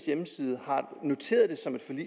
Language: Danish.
hjemmeside er noteret